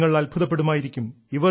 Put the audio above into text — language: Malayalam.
നിങ്ങൾ അത്ഭുതപ്പെടുമായിരിക്കും